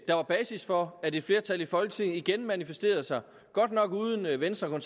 der var basis for at et flertal i folketinget igen manifesterede sig godt nok uden venstre og